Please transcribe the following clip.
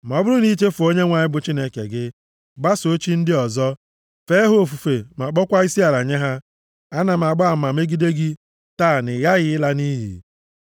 Ma ọ bụrụ na i chefuo Onyenwe anyị bụ Chineke gị, gbasoo chi ndị ọzọ, fee ha ofufe ma kpọọkwa isiala nye ha, ana m agba ama megide gị taa na ị ghaghị ịla nʼiyi.